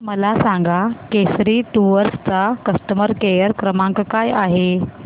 मला सांगा केसरी टूअर्स चा कस्टमर केअर क्रमांक काय आहे